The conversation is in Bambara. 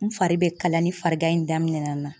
N fari be kalaya ni farigan in daminɛ na.